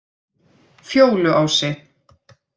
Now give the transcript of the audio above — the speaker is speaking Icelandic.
Fjóluási